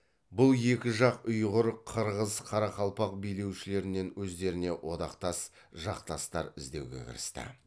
бұл екі жақ ұйғыр қырғыз қарақалпақ билеушілерінен өздеріне одақтас жақтастар іздеуге кірісті